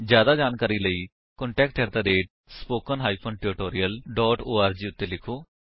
ਜਿਆਦਾ ਜਾਣਕਾਰੀ ਲਈ ਕੰਟੈਕਟ ਸਪੋਕਨ ਟਿਊਟੋਰੀਅਲ ਓਰਗ ਉੱਤੇ ਲਿਖੋ